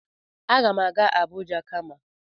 Agam aga Abuja kama.